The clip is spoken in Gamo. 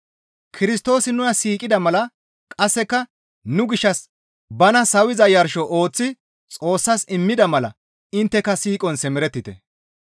Kirstoosi nuna siiqida mala qasseka nu gishshas bana sawiza yarsho ooththi Xoossas immida mala intteka siiqon simerettite.